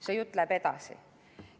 " See jutt läheb edasi.